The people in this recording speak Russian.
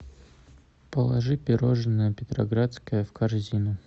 положи пирожное петроградское в корзину